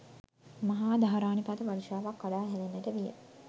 මහා ධාරානිපාත වර්ෂාවක් කඩා හැලෙන්නට විය.